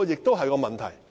這是一個問題。